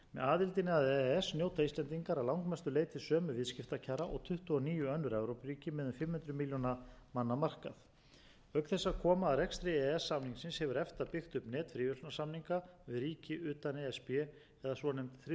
aðildinni að e e s njóta íslendingar að langmestu leyti sömu viðskiptakjara og tuttugu og níu önnur evrópuríki með um fimm hundruð milljóna manna markað auk þess að koma að rekstri e e s samningsins hefur efta byggt upp net fríverslunarsamninga við ríki utan e s b eða svonefnd þriðju